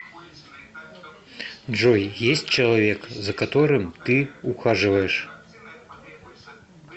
джой есть человек за которым ты ухаживаешь